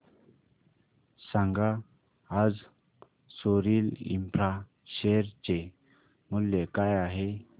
सांगा आज Soril infra share चे मूल्य काय आहे